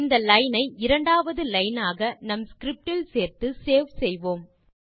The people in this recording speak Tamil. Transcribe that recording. இந்த லைன் ஐ இரண்டாவது லைன் ஆக இன் நம் ஸ்கிரிப்ட் இல் சேர்த்து சேவ் செய்வோம்